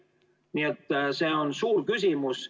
Nii et see on suur küsimus.